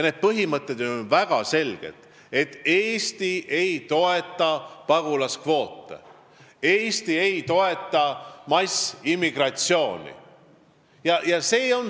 Need põhimõtted on ju väga selged: Eesti ei toeta pagulaskvoote, Eesti ei toeta massiimmigratsiooni.